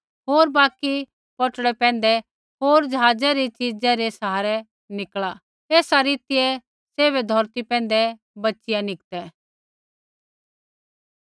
होर बाकि पौटड़ै पैंधै होर ज़हाज़ै री च़िज़ै रै सहारै निकल़ा एसा रीतियै सैभै धौरती पैंधै बच़िया निकतै